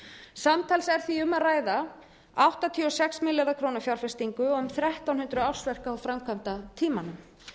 samtals er því um að ræða áttatíu og sex milljarða króna fjárfestingu og um þrettán hundruð ársverk á framkvæmdatímanum